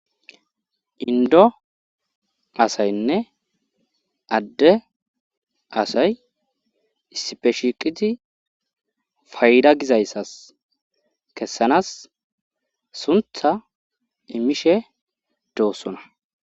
Indo asaynne adde asay issipeshiqiti fayda gizayssas kessanas suntha imishe doossona.